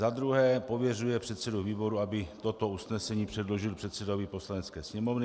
Za druhé pověřuje předsedu výboru, aby toto usnesení předložil předsedovi Poslanecké sněmovny.